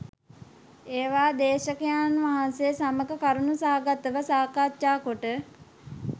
ඒවා දේශකයන් වහන්සේ සමග කරුණු සහගත ව සාකච්ඡා කොට